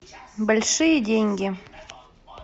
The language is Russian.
большие деньги